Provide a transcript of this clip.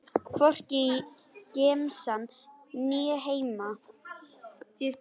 Hvorki í gemsann né heima.